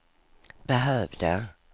behövde